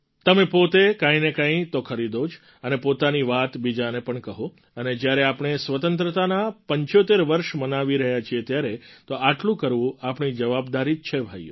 તમે પોતે કંઈ ને કંઈ તો ખરીદો જ અને પોતાની વાત બીજાને પણ કહો અને જ્યારે આપણે સ્વતંત્રતાનાં ૭૫ વર્ષ મનાવી રહ્યા છે ત્યારે તો આટલું કરવું આપણી જવાબદારી જ છે ભાઈઓ